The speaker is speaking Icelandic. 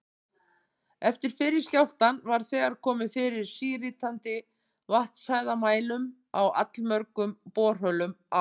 Eftir fyrri skjálftann var þegar komið fyrir síritandi vatnshæðarmælum í allmörgum borholum á